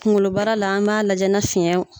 Kunkoloba la an b'a lajɛ ni fiɲɛ